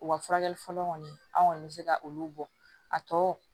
U ka furakɛli fɔlɔ kɔni an kɔni bɛ se ka olu bɔ a tɔ